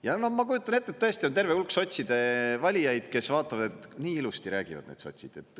Ja ma kujutan ette, et tõesti on terve hulk sotside valijaid, kes vaatavad, et nii ilusti räägivad need sotsid.